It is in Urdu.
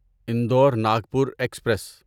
انڈور ناگپور ایکسپریس